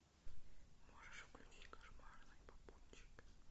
можешь включить кошмарный попутчик